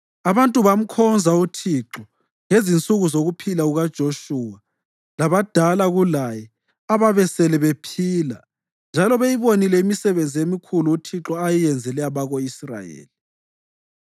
Abantu bamkhonza uThixo ngezinsuku zokuphila kukaJoshuwa labadala kulaye ababesele bephila njalo beyibonile imisebenzi emikhulu uThixo ayeyenzele abako-Israyeli.